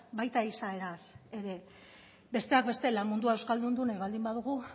baita izaeraz ere besteak beste lan mundua euskaldundu nahi baldin badugu